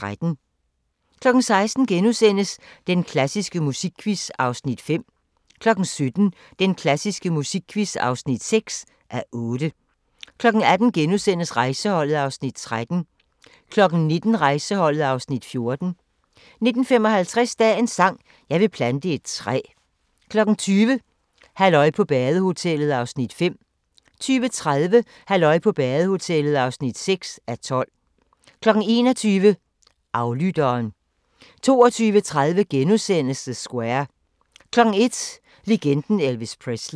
16:00: Den klassiske musikquiz (5:8)* 17:00: Den klassiske musikquiz (6:8) 18:00: Rejseholdet (Afs. 13)* 19:00: Rejseholdet (Afs. 14) 19:55: Dagens sang: Jeg vil plante et træ * 20:00: Halløj på badehotellet (5:12) 20:30: Halløj på badehotellet (6:12) 21:00: Aflytteren 22:30: The Square * 01:00: Legenden Elvis Presley